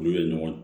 Olu ye ɲɔgɔn ye